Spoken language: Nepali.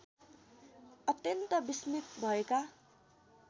अत्यन्त विस्मित् भएका